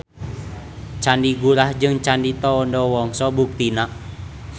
Candi Gurah jeung Candi Tondowongso buktina.